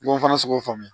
I b'o fana sɔrɔ k'o faamuya